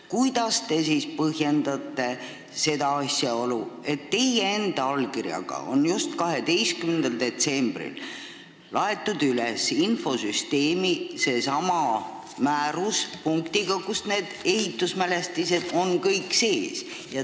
Kuidas te siis põhjendate seda asjaolu, et teie enda allkirjaga on 12. detsembril infosüsteemi üles laetud seesama määrus punktiga, kus ehitismälestised on kenasti sees.